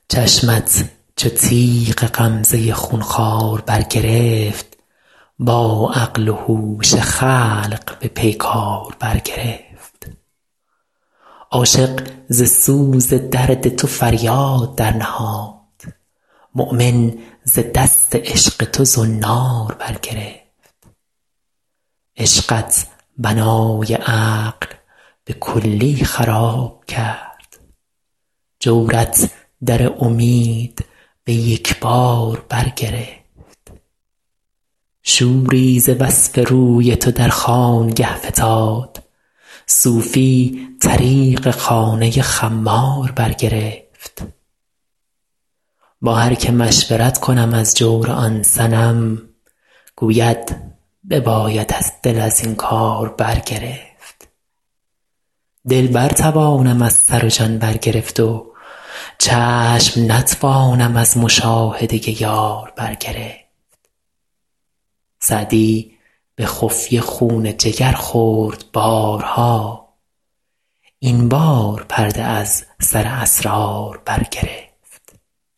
چشمت چو تیغ غمزه خون خوار برگرفت با عقل و هوش خلق به پیکار برگرفت عاشق ز سوز درد تو فریاد درنهاد مؤمن ز دست عشق تو زنار برگرفت عشقت بنای عقل به کلی خراب کرد جورت در امید به یک بار برگرفت شوری ز وصف روی تو در خانگه فتاد صوفی طریق خانه خمار برگرفت با هر که مشورت کنم از جور آن صنم گوید ببایدت دل از این کار برگرفت دل برتوانم از سر و جان برگرفت و چشم نتوانم از مشاهده یار برگرفت سعدی به خفیه خون جگر خورد بارها این بار پرده از سر اسرار برگرفت